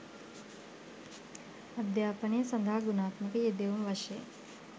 අධ්‍යාපන සඳහා ගුණාත්මක යෙදවුම් වශයෙන්